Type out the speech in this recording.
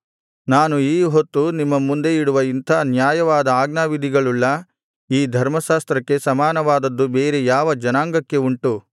ನಾನು ಈ ಹೊತ್ತು ನಿಮ್ಮ ಮುಂದೆ ಇಡುವ ಇಂಥ ನ್ಯಾಯವಾದ ಆಜ್ಞಾವಿಧಿಗಳುಳ್ಳ ಈ ಧರ್ಮಶಾಸ್ತ್ರಕ್ಕೆ ಸಮಾನವಾದದ್ದು ಬೇರೆ ಯಾವ ಜನಾಂಗಕ್ಕೆ ಉಂಟು